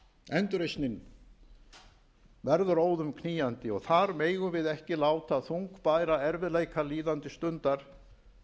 endurreisnin verður óðum knýjandi og þar megum við ekki láta þungbæra erfiðleika líðandi stundar